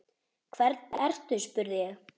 Hvernig ertu spurði ég.